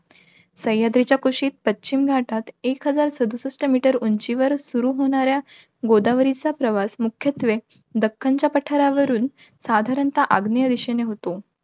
सह्याद्रीच्या कुशीत, पश्चिम घाटात एक हजार सदुसष्ठ meter उंचीवर सुरु होणाऱ्या, गोदावरीचा प्रवास मुख्यत्त्वे दक्खनच्या पठारावरून साधारण अग्न्येय दिशेला होतो.